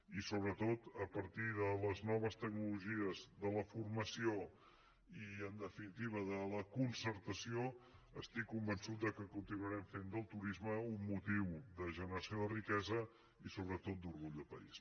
i sobretot a partir de les noves tecnologies de la formació i en definitiva de la concertació estic convençut que continuarem fent del turisme un motiu de generació de riquesa i sobretot d’orgull de país